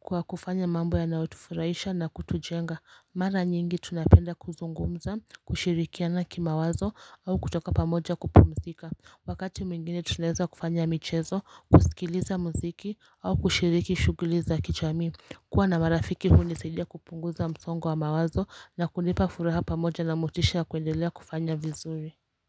kwa kufanya mambo ya naotufuraisha na kutujenga mara nyingi tunapenda kuzungumza kushirikiana kima wazo au kutoka pamoja kupumzika Wakati mwingine tunaeza kufanya michezo kusikiliza mziki au kushiriki shuguliza kichami kuwa na marafiki huu nisidia kupunguza msongwa wa mawazo na kulipa furaha pamoja na motisha kuendelea kufanya vizuri.